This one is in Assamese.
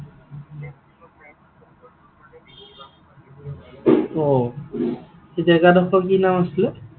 অ, জেগাডোখৰৰ কি নাম আছিলে?